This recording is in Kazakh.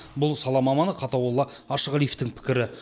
бұл сала маманы қатауолла ашығалиевтің пікірі